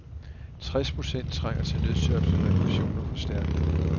Tres procent trænger til nødtørftig reparation og forstærkning.